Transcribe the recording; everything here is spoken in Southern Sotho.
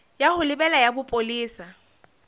ya ho lebela ya bopolesa